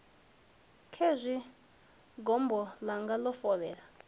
khezwi gombo ḽanga ḽo fovhela